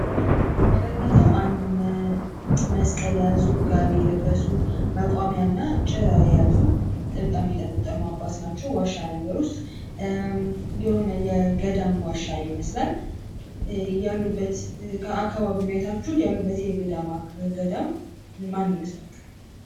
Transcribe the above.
በምሉለ ላይ የምንመለከተዉ አንድ መስቀል የያዙ፣ ጋቢ የለበሱ፣ መቋሚያ እና ጭራ የያዙ ጠምጣም የጠመጠሙ አባት ናቸዉ። ዋሻ ነገር ዉስጥ የሆነ የገዳም ዋሻ ይመስላል። ያሉበት አካባቢዉን አይታችሁ ያሉበት ገዳም ማን ይመስላል?